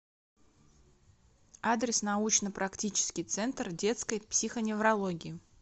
адрес научно практический центр детской психоневрологии